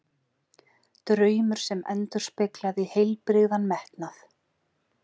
Draumur sem endurspeglaði heilbrigðan metnað.